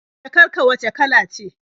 Jakar ka wacce kala ce?